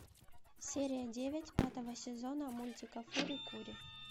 серия девять пятого сезона мультика фури кури